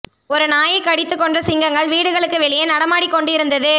ஒரு நாயை கடித்து கொன்ற சிங்கங்கள் வீடுகளுக்கு வெளியே நடமாடிக் கொண்டு இருந்தது